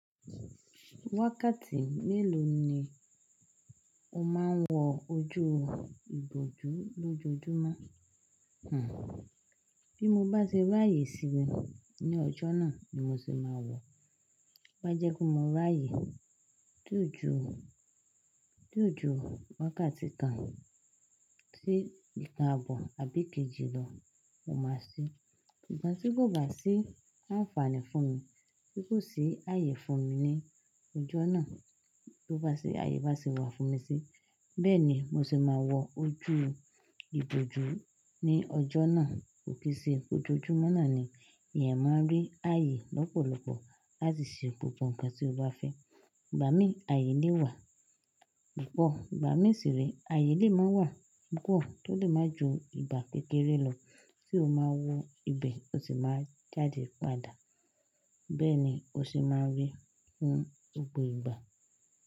Wákàtí mélòó ni o máa ń wọ ojú ìbòjú lójoojúmọ́? Hmn. Bí mo bá ṣe rí ààyè síni ní ọjọ́ náà ni mo ṣe máa wọ̀. Bá jẹ́ kí mo rí ààyè ti o ju, ti o ju wákàtí kan sí ìkan abọ́ àbí kejì lọ, mo máa sí. Ìgbà tí kò bá sí àǹfààní fún mi, tí kò sì ààyè fún mi ní ọjọ́ náà, tí ó bá sì ààyè bá sì wà fún mi sí, bẹ́ẹ̀ ni mo ṣe máa wọ ojú ìbòjú ní ọjọ́ náà. Ko kí ṣe ní ojoojúmọ́ náà ni èèyàn máa ń rí ààyè lọ́pọ̀lọpọ̀ láti ṣe gbogbo ǹkan tí ó bá fẹ́. Ìgbà mìí ààyè lè wà púpọ̀, ìgbà mìí sì re ààyè lè máa wà púpọ̀ tó lè máa ju ìgbà kékeré lọ tí o máa wọ ibẹ̀, o sì máa jáde padà. Bẹ́ẹ̀ ni o sì máa rí fún gbogbo ìgbà.